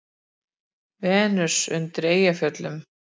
Venus undan Eyjafjöllum.